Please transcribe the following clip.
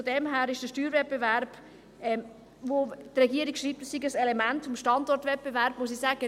Von daher muss ich zum Steuerwettbewerb, von dem die Regierung schreibt, dass es ein Element des Standortwettbewerbs sei, sagen: